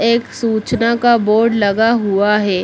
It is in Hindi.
एक सूचना का बोर्ड लगा हुआ है।